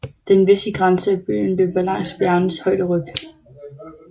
Den vestlige grænse af byen løber langs bjergenes højderyg